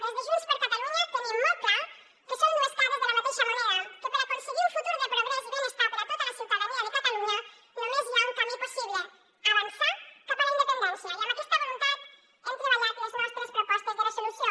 des de junts per catalunya tenim molt clar que són dues cares de la mateixa moneda que per aconseguir un futur de progrés i benestar per a tota la ciutadania de catalunya només hi ha un camí possible avançar cap a la independència i amb aquesta voluntat hem treballat les nostres propostes de resolució